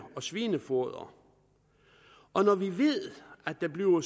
og svinefoder og når vi ved at der bliver